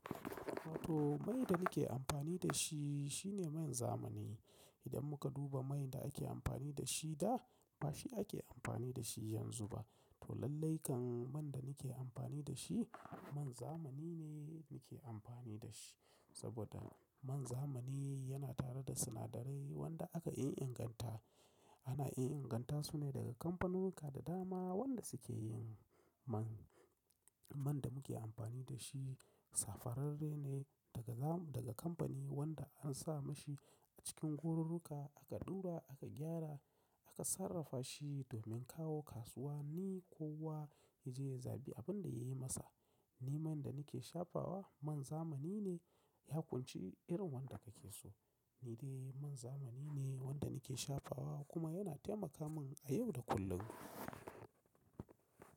To mai da nake amfani da shi shine man zamani. Idan muka duba man da ake amfani da shi da ba shi ake amfani da shi yanzu ba. To lallai kan man da nake amfani da shi man zamani ne nake amfani da shi. Saboda man zamani yana tare da sinadarai wanda aka inganta. Ana iya inganta su ne daga kamfanuka da dama wanda suke yin man, man da muke amfani da shi. Safararre ne daga zam-- daga kamfani wanda an sa mashi a cikin horarruka aka ɗura aka gyara aka sarrafa shi domin kawo kasuwa. Ni kuwa na zai zagi abin da ya yi masa. Ni man da nake shafawa man zamani ne ya ƙunshi irin wanda ka ke so. Ni dai man zamani ne wanda nake shafawa kuma yana taimaka min a yau da kullum.